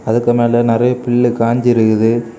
அதுக்கு மேல நெறய பில்லு காஞ்சிருக்குது.